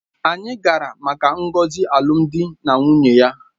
Anyị gara maka ngọzi alụmdi na nwunye ya